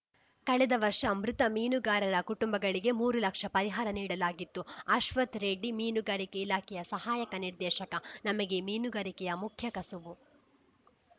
ಕಳೆದ ವರ್ಷ ಮೃತ ಮೀನುಗಾರರ ಕುಟುಂಬಗಳಿಗೆ ಮೂರು ಲಕ್ಷ ಪರಿಹಾರ ನೀಡಲಾಗಿತ್ತು ಅಶ್ವಥ್‌ ರೆಡ್ಡಿ ಮೀನುಗಾರಿಕೆ ಇಲಾಖೆ ಸಹಾಯ ನಿರ್ದೇಶಕ ನಮಗೆ ಮೀನುಗಾರಿಕೆಯ ಮುಖ್ಯ ಕಸುಬು